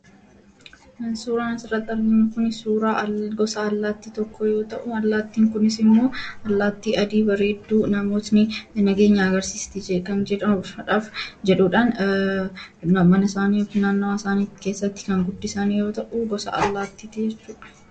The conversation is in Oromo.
Suuraan asirratti arginu kun suuraa gosa allaattii tokkoo yoo ta'u, allaattiin kunis ammoo allaattii adii bareedduu, namoonni nageenya agarsiistuu jechuudhaan mana isaaniif naannawaa mana isaanii keessatti kan guddisan yeroo ta'u, gosa allaattiiti jechuudha.